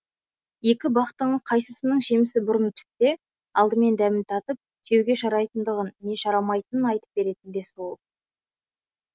екі бақтың қайсысының жемісі бұрын піссе алдымен дәмін татып жеуге жарайтындығын не жарамайтынын айтып беретін де сол